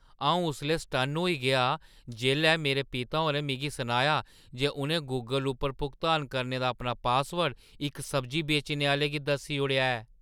अंऊ उसलै सटन्न होई गेआ जेल्लै मेरे पिता होरें मिगी सनाया जे उ'नें गूगल उप्पर भुगतान करने दा अपना पासवर्ड इक सब्जी बेचने आह्‌ले गी दस्सी ओड़ेआ ऐ ।